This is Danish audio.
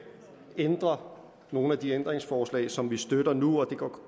ændrer nogle af de ændringsforslag som vi støtter nu det går